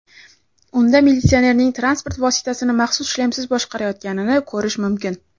Unda militsionerning transport vositasini maxsus shlemsiz boshqarayotganini ko‘rish mumkin.